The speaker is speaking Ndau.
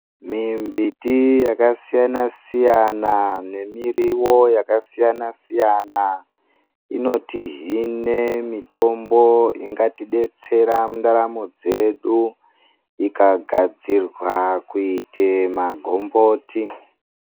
Mimbiti yakasiyana siyana nemiriwo yakasiyana siyana inoti hine mitombo ingatidetsera muntharamo dzedu ikagadzirwa kuite magomboti.